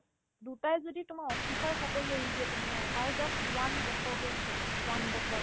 দুটাই যদি তোমাৰ officer চাকৰি এৰি দিয়েতো তুমি ভাবা তাই just one বছৰ কৰিছে one বছৰ